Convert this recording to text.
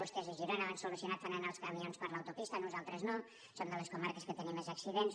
vostès a girona ho han solucionat fan anar els camions per l’autopista nosaltres no som de les comarques que tenim més accidents